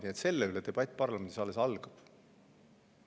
Nii et selle üle debatt parlamendis alles algab.